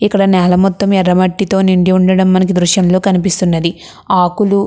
ఇక్కడ నేల మొత్తం ఎర్రమట్టితో నిండి ఉండటం మనకి ఈ దృశ్యం లో కనిపిస్తూ ఉన్నది ఆకులు --